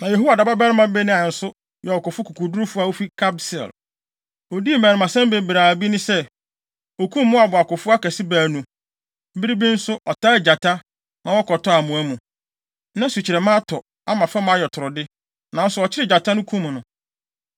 Na Yehoiada babarima Benaia nso yɛ ɔkofo kokodurufo a ofi Kabseel. Odii mmarimasɛm bebree a bi ne sɛ, okum Moab akofo akɛse baanu. Bere bi nso, ɔtaa gyata, ma wɔkɔtɔɔ amoa mu. Na sukyerɛmma atɔ, ama fam ayɛ toro de, nanso ɔkyeree gyata no, kum no.